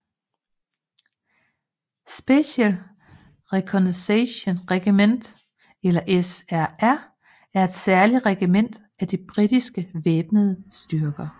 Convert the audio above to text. Special Reconnaissance Regiment eller SRR er et særligt regiment af de britiske væbnede styrker